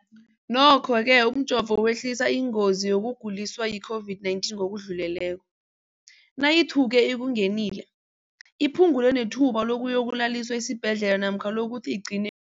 Nokho-ke umjovo wehlisa ingozi yokuguliswa yi-COVID-19 ngokudluleleko, nayithuke ikungenile, iphu ngule nethuba lokuyokulaliswa esibhedlela namkha lokuthi igcine